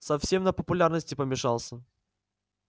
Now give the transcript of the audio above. совсем на популярности помешался